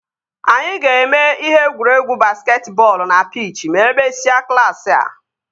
Anyị ga-eme ihe egwuregwu basketi bọọlụ na pich e mesịa klaasị a